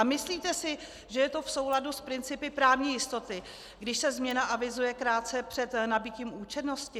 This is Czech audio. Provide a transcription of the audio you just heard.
A myslíte si, že je to v souladu s principy právní jistoty, když se změna avizuje krátce před nabytím účinnosti?